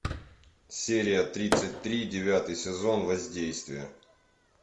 серия тридцать три девятый сезон воздействие